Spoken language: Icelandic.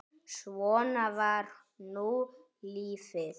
Svona var nú lífið.